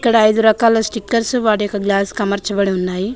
ఇక్కడ ఐదు రకాల స్టికెర్స్ వాటి యొక్క గ్లాస్ కి అమార్చాబడి ఉన్నాయి